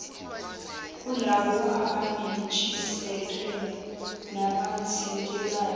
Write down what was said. kulabo abanentshisekelo nabathintekayo